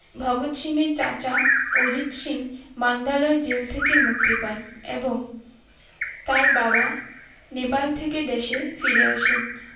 ভগৎ সিং এর চাচা Ajit Singh Mandalay jail থেকে মুক্তি পান এবং তার বাবা নেপাল থেকে দেশে ফিরে আসে